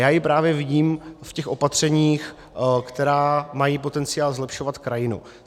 Já ji právě vidím v těch opatřeních, která mají potenciál zlepšovat krajinu.